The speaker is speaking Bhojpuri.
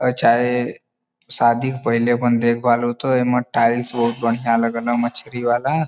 अ चाहे शादी के पहिले अपन देखभाल होत होए। एमा टाइल्स बहुत बढ़िया लगल ह मछरी वाला।